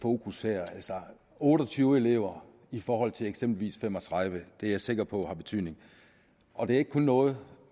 fokus her altså otte og tyve elever i forhold til eksempelvis fem og tredive er jeg sikker på har betydning og det er ikke kun noget